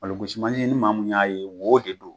Malo basi mansin ni maamu y'a ye wo de don.